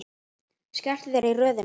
Skelltu þér í röðina.